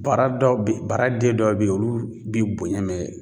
Bara dɔw bɛ bara den dɔw bɛ yen olu bi bonya mɛ